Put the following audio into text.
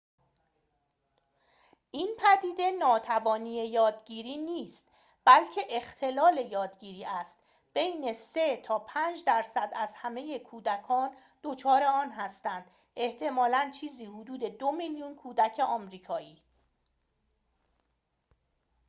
این پدیده ناتوانی یادگیری نیست بلکه اختلال یادگیری است بین ۳ تا ۵ درصد از همه کودکان دچار آن هستند احتمالاً چیزی حدود ۲ میلیون کودک آمریکایی